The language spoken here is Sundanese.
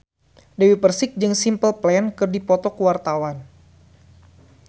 Dewi Persik jeung Simple Plan keur dipoto ku wartawan